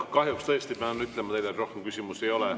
Kahjuks pean tõesti teile ütlema, et rohkem küsimusi ei ole.